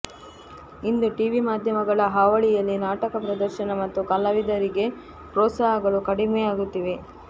ಇಂದು TV ಮಾಧ್ಯಮಗಳ ಹಾವಳಿಯಲ್ಲಿ ನಾಟಕ ಪ್ರದರ್ಶನ ಹಾಗೂ ಕಲಾವಿದರಿಗೆ ಪ್ರೋತ್ಸಾಹಗಳು ಕಡಿಮೆಯಾಗುತ್ತಿವೆ